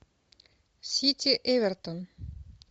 сити эвертон